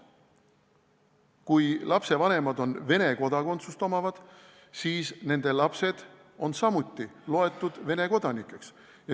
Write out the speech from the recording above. Kui lapse vanemad on Vene kodanikud, siis on laps samuti Vene kodanik.